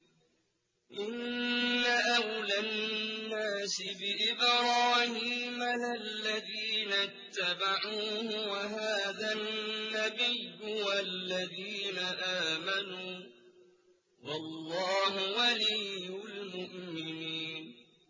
إِنَّ أَوْلَى النَّاسِ بِإِبْرَاهِيمَ لَلَّذِينَ اتَّبَعُوهُ وَهَٰذَا النَّبِيُّ وَالَّذِينَ آمَنُوا ۗ وَاللَّهُ وَلِيُّ الْمُؤْمِنِينَ